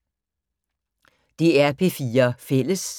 DR P4 Fælles